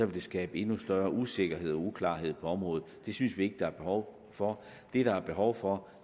vil skabe endnu større usikkerhed og uklarhed på området det synes vi ikke der er behov for det der er behov for